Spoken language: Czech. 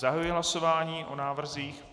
Zahajuji hlasování o návrzích.